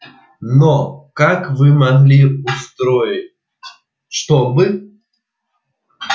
но как вы могли устроить чтобы